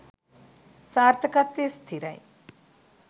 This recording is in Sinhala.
සාර්ථකත්වය ස්ථිරයි.